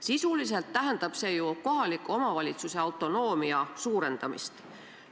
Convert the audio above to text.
Sisuliselt tähendab see ju kohaliku omavalitsuse autonoomia suurendamist.